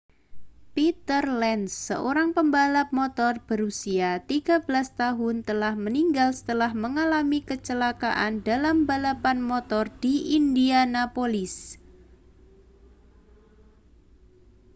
peter lenz seorang pembalap motor berusia 13 tahun telah meninggal setelah mengalami kecelakaan dalam balapan motor di indianapolis